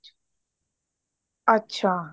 ਅੱਛਾ